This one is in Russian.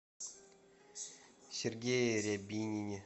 сергее рябинине